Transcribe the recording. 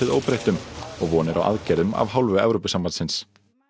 óbreyttum og von er á aðgerðum af hálfu Evrópusambandsins